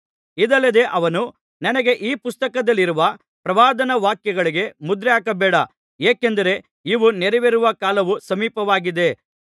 ಇದಲ್ಲದೆ ಅವನು ನನಗೆ ಈ ಪುಸ್ತಕದಲ್ಲಿರುವ ಪ್ರವಾದನಾ ವಾಕ್ಯಗಳಿಗೆ ಮುದ್ರೆಹಾಕಬೇಡ ಏಕೆಂದರೆ ಇವು ನೆರವೇರುವ ಕಾಲವು ಸಮೀಪವಾಗಿದೆ